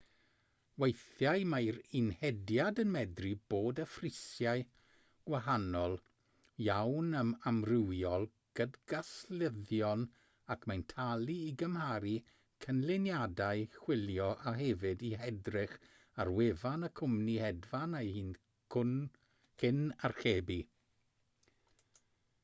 weithiau mae'r un hediad yn medru bod â phrisiau gwahanol iawn ar amrywiol gydgaslyddion ac mae'n talu i gymharu canlyniadau chwilio a hefyd i edrych ar wefan y cwmni hedfan ei hun cyn archebu